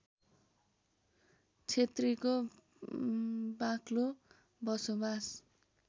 क्षेत्रीको बाक्लो बसोवास